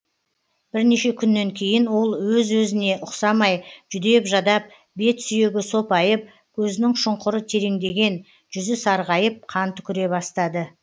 бірнеше күннен кейін ол өзі өзіне ұқсамай жүдеп жадап бет сүйегі сопайып көзінің шұңқыры тереңдеген жүзі сарғайып қан түкіре бастады